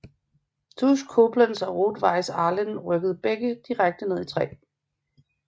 TuS Koblenz og Rot Weiss Ahlen rykkede begge direkte ned i 3